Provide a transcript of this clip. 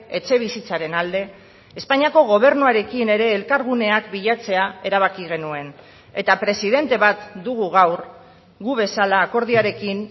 etxebizitzaren alde espainiako gobernuarekin ere elkarguneak bilatzea erabaki genuen eta presidente bat dugu gaur gu bezala akordioarekin